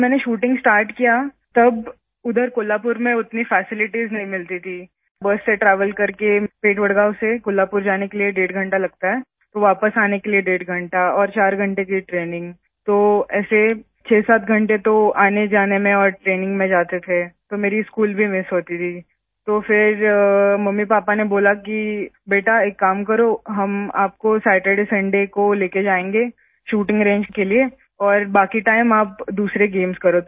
जब मैंने shooting start किया तब उधर कोल्हापुर में उतनी फैसिलिटीज नहीं मिलती थी बस से ट्रैवल करके वडगांव से कोल्हापुर जाने के लिए डेढ़ घंटा लगता है तो वापस आने के लिए डेढ़ घंटा और चार घंटे की ट्रेनिंग तो ऐसे 67 घंटे तो आने जाने में और ट्रेनिंग में जाते थे तो मेरी स्कूल भी मिस होती थी तो फिर मम्मीपापा ने बोला कि बेटा एक काम करो हम आपको सैचरडेसंडे को ले के जायेंगे शूटिंग रंगे के लिए और बाकी टाइम्स आप दूसरे गेम्स करो